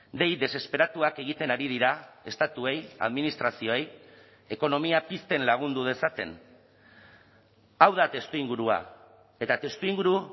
dei desesperatuak egiten ari dira estatuei administrazioei ekonomia pizten lagundu dezaten hau da testuingurua eta testuinguru